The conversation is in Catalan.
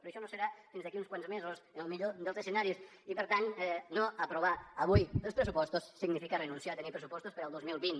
però això no serà fins d’aquí uns quants mesos en el millor dels escenaris i per tant no aprovar avui els pressupostos significa renunciar a tenir pressupostos per al dos mil vint